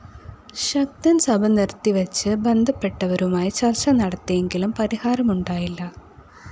ശക്തന്‍ സഭ നിര്‍ത്തിവച്ച് ബന്ധപ്പെട്ടവരുമായി ചര്‍ച്ച നടത്തിയെങ്കിലും പരിഹാരമുണ്ടായില്ല